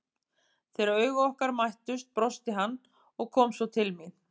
Þegar augu okkar mættust brosti hann og kom svo til mín.